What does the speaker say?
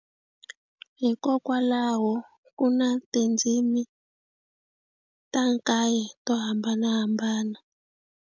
Hikokwalaho ku na tindzimi ta kaye to hambanahambana.